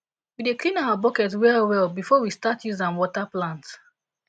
we dey clean our bucket well well before we start use am water plant